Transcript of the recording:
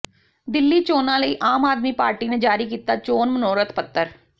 ਦਿੱਲੀ ਚੋਣਾਂ ਲਈ ਆਮ ਆਦਮੀ ਪਾਰਟੀ ਨੇ ਜਾਰੀ ਕੀਤਾ ਚੋਣ ਮਨੋਰਥ ਪੱਤਰ